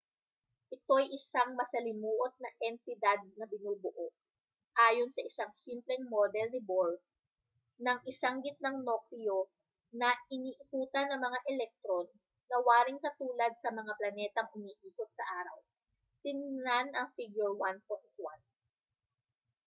ito'y isang masalimuot na entidad na binubuo ayon sa isang simpleng model ni bohr ng isang gitnang nukleo na iniikutan ng mga elektron na waring katulad sa mga planetang umiikot sa araw tingnan ang figure 1.1